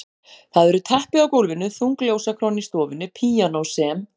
Það eru teppi á gólfinu, þung ljósakróna í stofunni, píanó sem